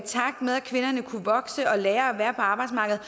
de kunne vokse og lære at være på arbejdsmarkedet